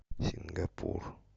сингапур